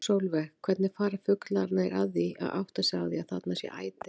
Sólveig: Hvernig fara fuglarnir að því að átta sig á að þarna sé æti?